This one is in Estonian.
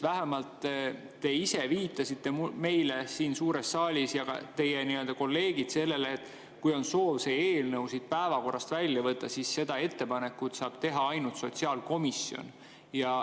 Vähemalt te ise viitasite meile siin suures saalis ja ka teie kolleegid viitasid sellele, et kui on soov see eelnõu päevakorrast välja võtta, siis seda ettepanekut saab teha ainult sotsiaalkomisjon.